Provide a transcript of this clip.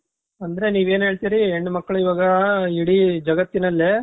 ಅಂದ್ರೆ ನೀವು ಏನ್ ಹೇಳ್ತೀರಿ ಹೆಣ್ಣು ಮಕ್ಕಳು ಇವಾಗಾ ಇಡೀ ಜಗತ್ತಿನಲ್ಲೇ